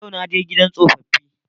Yau na je gidan tsofaffi